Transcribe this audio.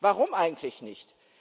Warum eigentlich nicht?